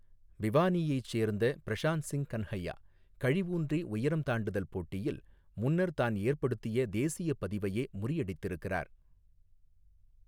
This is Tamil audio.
பிவானீயைச் சேர்ந்த பிரஷாந்த் சிங் கன்ஹையா, கழி ஊன்றி உயரம் தாண்டுதல் போட்டியில், முன்னர் தான் ஏற்படுத்திய தேசியப் பதிவையே முறியடித்திருக்கிறார்.